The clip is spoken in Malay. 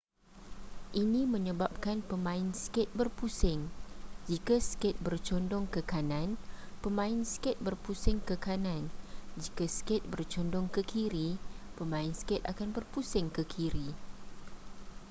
ini menyebabkan pemain skate berpusing jika skate bercondong ke kanan pemain skate berpusing ke kanan jika skate bercondong ke kiri pemain skate akan berpusing ke kiri